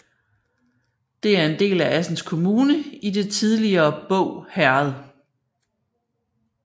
Det er en del af Assens Kommune i det tidligere Båg Herred